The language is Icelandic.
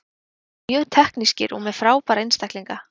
Þeir eru mjög teknískir og með frábæra einstaklinga.